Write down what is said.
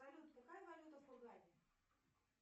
салют какая валюта в хургаде